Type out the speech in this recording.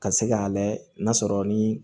Ka se k'a layɛ n'a sɔrɔ ni